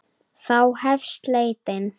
Þá hefst leitin.